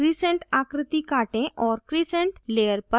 crescent आकृति काटें और crescent layer पर paste करें